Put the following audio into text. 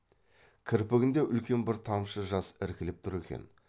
кірпігінде үлкен бір тамшы жас іркіліп тұр екен